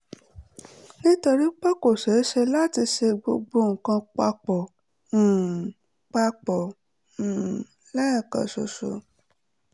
nítorí pé kò ṣeé ṣe láti ṣe gbogbo nǹkan pa pọ̀ um pa pọ̀ um lẹ́ẹ̀kan ṣoṣo